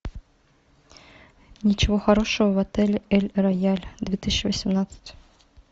ничего хорошего в отеле эль рояль две тысячи восемнадцать